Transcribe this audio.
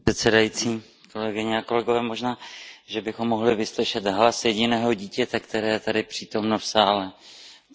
Možná, že bychom mohli vyslyšet hlas jediného dítěte, které je tady přítomno v sále, to je tady dítě kolegyně.